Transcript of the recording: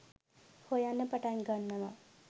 හොයන්න පටන් ගන්නවා